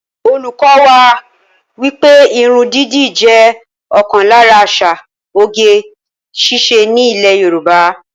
Olùkọ́ wá wípé irun dídì jẹ́ ọ̀kan lára àṣà oge ṣíṣe ní ilè Yorùbá